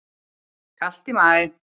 Kalt í maí